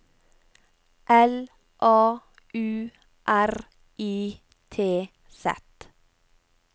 L A U R I T Z